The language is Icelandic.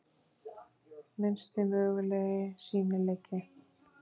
Minnsti mögulegi sýnileiki.